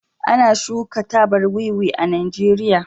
ana shuka tabar wiwi Najeriya